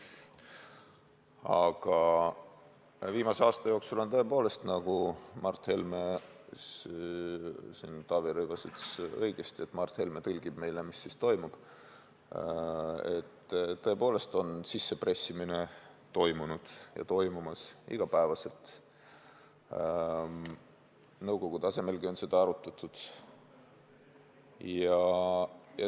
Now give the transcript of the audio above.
Aga viimase aasta jooksul on tõepoolest, nagu Taavi Rõivas õigesti ütles, olnud nii, et Mart Helme tõlgib meile, mis toimub – sissepressimine on toimunud ja toimumas iga päev, nõukogu tasemelgi on seda arutatud.